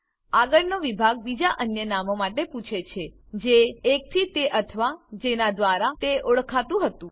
આગળનો વિભાગ બીજા અન્ય નામો માટે પૂછે છે જે એકથી તે અથવા જેના દ્વારા તે ઓળખાતું હતું